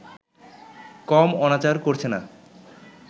কম অনাচার করছে না